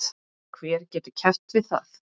Hver getur keppt við það?